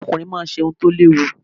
Ọkùnrin máa ń ṣe ohun tó léwu.